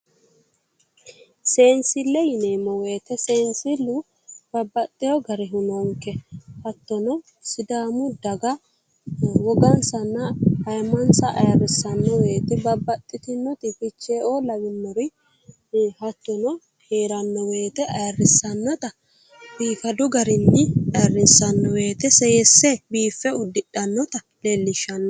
Seensile yinneemmo woyte seensilu babbaxino garihu noonke ,hattono sidaamu daga woggansanna ayimmansa ayirrisano woyte babbaxitinoti ficheeo lawinori ii'i hattono heerano woyite ayirrisanotta biifadu garinni ayirrinsanni woyte seesinse biiffisanotta leelishano.